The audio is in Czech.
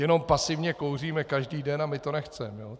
Jenom pasivně kouříme každý den a my to nechceme.